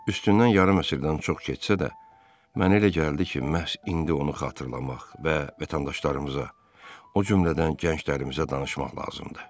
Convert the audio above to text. Üstündən yarım əsrdən çox keçsə də, mənə elə gəldi ki, məhz indi onu xatırlamaq və vətəndaşlarımıza, o cümlədən gənclərimizə danışmaq lazımdır.